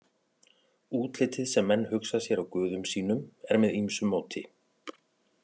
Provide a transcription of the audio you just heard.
Útlitið sem menn hugsa sér á guðum sínum er með ýmsu móti.